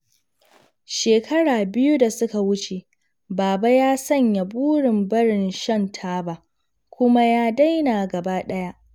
Shekaru biyu da suka wuce, Baba ya sanya burin barin shan taba, kuma ya daina gaba ɗaya.